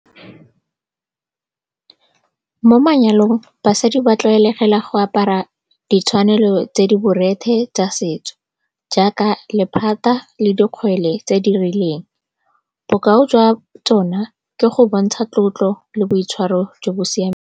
Mo manyalong, basadi ba tlwaelegile go apara ditshwanelo tse di borethe tsa setso jaaka lephata le dikgwele tse di rileng. Bokao jwa tsona ke go bontsha tlotlo le boitshwaro jo bo siameng.